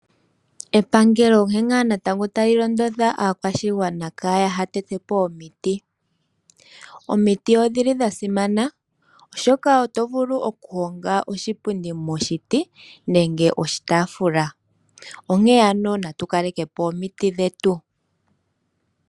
Epangelo onkee ngaa natango tali londodha aakwashigwana ka ya tetepo omiti . Omiti odhili dha simana oshoka otovulu okuhonga oshipundi momiti nenge oshitaaafula ,onkee ano natu kalekepo omiti dhetu.